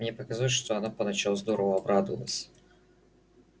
мне показалось что она поначалу здорово обрадовалась